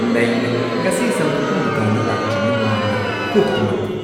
ꯅꯩꯔꯦ! ꯉꯁꯤ ꯁꯝ ꯀꯛꯐꯝ ꯗꯨꯀꯥꯟꯗ ꯂꯥꯛꯇ꯭ꯔꯤꯉꯩ ꯃꯃꯥꯡꯗ ꯀꯣꯛ ꯇꯨꯝꯂꯛꯄ꯭ꯔꯥ?